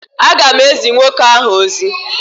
A ga m ezi nwoke ahụ ozi.